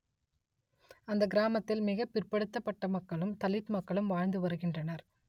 அந்த கிராமத்தில் மிக பிற்படுத்தப்பட்ட மக்களும் தலித் மக்களும் வாழ்ந்து வருகின்றனர்